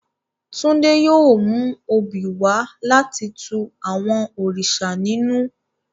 Tunde yóò mu obí wa lati tù àwọn òrìṣà ninù.